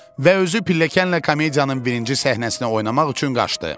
Və özü pilləkənlə komediyanın birinci səhnəsinə oynamaq üçün qaçdı.